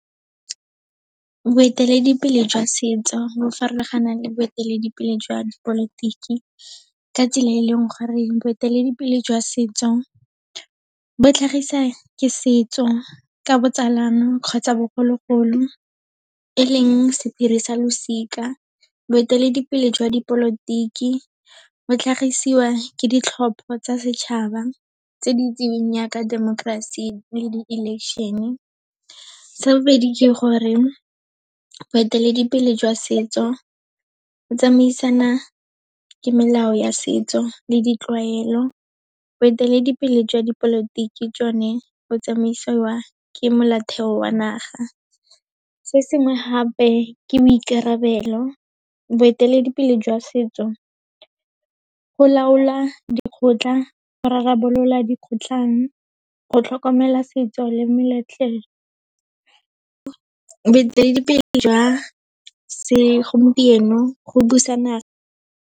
Boeteledipele jwa setso, bo farologana le boeteledipele jwa dipolotiki ka tsela e leng gore boeteledipele jwa setso, bo tlhagisa ke setso ka botsalano kgotsa bogologolo, e leng sephiri sa losika. Boeteledipele jwa dipolotiki bo tlhagisiwa ke ditlhopho tsa setšhaba tse di itseweng jaaka democracy le di-election-e. Sa bobedi ke gore boeteledipele jwa setso, bo tsamaisana ke melao ya setso le ditlwaelo. Boeteledipele jwa dipolotiki jone bo tsamaisiwa ke molaotheo wa naga. Se sengwe hape, ke boikarabelo. Boeteledipele jwa setso go laola dikgotla, go rarabolola dikgotlhang, go tlhokomela setso le . Boeteledipele jwa segompieno, go .